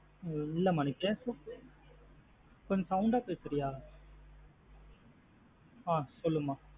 இல்லா மா நீ பேசறது கொஞ்சம் sound ஆ பேசறிய? ஆஹ் சொல்லுமா.